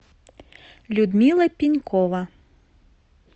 людмила пенькова